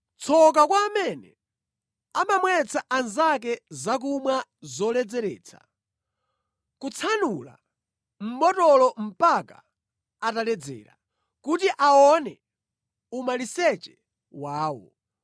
“Tsoka kwa amene amamwetsa anzake zakumwa zoledzeretsa, kutsanula mʼbotolo mpaka ataledzera, kuti aone umaliseche wawo.